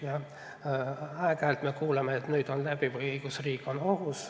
Jah, aeg-ajalt me kuuleme, et nüüd on see läbi või õigusriik on ohus.